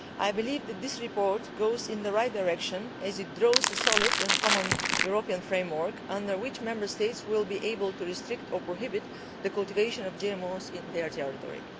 I believe that this report goes in the right direction as it draws a solid and common European framework under which Member States will be able to restrict or prohibit the cultivation of GMOs in their territory.